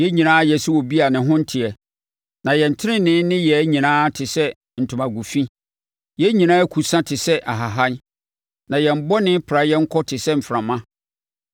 Yɛn nyinaa ayɛ sɛ obi a ne ho nteɛ, na yɛn tenenee nneyɛɛ nyinaa te sɛ ntomago fi; yɛn nyinaa akusa te sɛ ahahan, na yɛn bɔne pra yɛn kɔ te sɛ mframa.